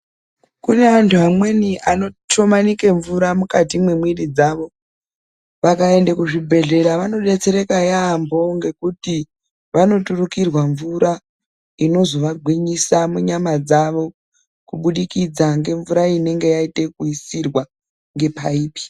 Kune antu amweni anotomanika mvura mukati memwiri dzawo vakawanda kuzvibhedhlera vanodetsereka yambo vanoturikirwa mvura inozovagwinyisa munyama dzawo Kubudisa kwemvura inenge yaita zvekuisirwa nepaipi.